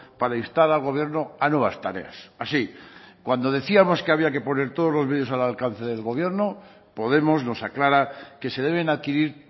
para instar al gobierno a nuevas tareas así cuando decíamos que había que poner todo los medios al alcance del gobierno podemos nos aclara que se deben adquirir